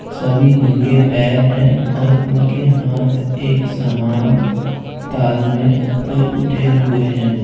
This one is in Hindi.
सभी नंगे पैर हैं और उनके हाथ एक समान ताल में ऊपर उठे हुए हैं।